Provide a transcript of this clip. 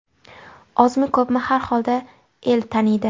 Ozmi-ko‘pmi, xar xolda el tanidi.